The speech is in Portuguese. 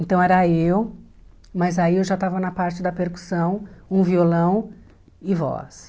Então era eu, mas aí eu já estava na parte da percussão, um violão e voz.